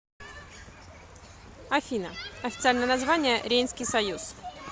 афина официальное название рейнский союз